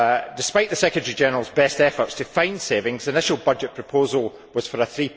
Despite the Secretary General's best efforts to find savings, an initial budget proposal was for a